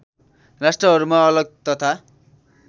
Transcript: राष्ट्रहरूमा अलग तथा